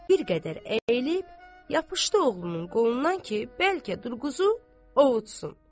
Bir qədər əyilib yapışdı oğlunun qolundan ki, bəlkə dur quzu ovutsun.